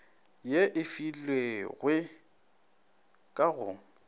ye e filwegoi ka go